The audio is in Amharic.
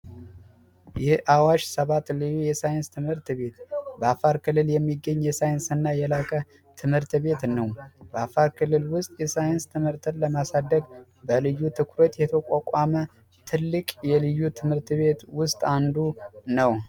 የአዋሽ የሳይንስ ትምህርት ቤት በአፋር ክልል የሚገኝ የሳይንስና የላቀ ትምህርት ቤት ነው። በአፋር ክልል በልዩ ትኩረት የተቋቋመ ትልቅ እና ልዩ ትምህርት ቤት ውስጥ አንዱ ነው።